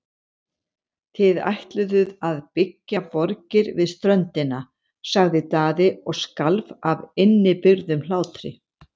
Þið ætluðuð að byggja borgir við ströndina, sagði Daði og skalf af innibyrgðum hlátri.